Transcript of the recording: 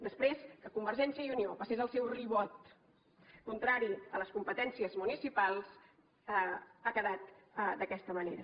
després que convergència i unió passés el seu ribot contrari a les competències municipals ha quedat d’aquesta manera